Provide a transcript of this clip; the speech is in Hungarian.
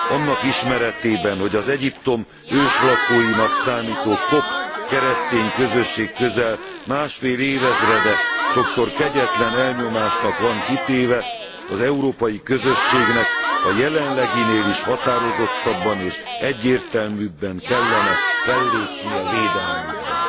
Annak ismeretében, hogy az Egyiptom őslakóinak számító kopt keresztény közösség közel másfél évezrede sokszor kegyetlen elnyomásnak van kitéve, az Európai Közösségnek a jelenleginél is határozottabban és egyértelműbben kellene fellépnie védelmükben.